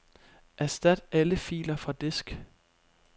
Erstat alle filer fra disk.